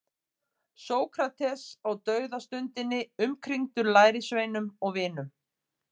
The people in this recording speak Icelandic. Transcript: Sókrates á dauðastundinni umkringdur lærisveinum og vinum.